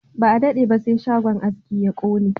Ba a dade ba sai shagon aski ya kone